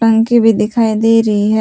टंकी भी दिखाई दे रही है।